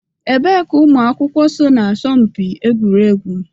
Ebee ka ụmụ akwụkwọ so na asọmpi egwuregwu?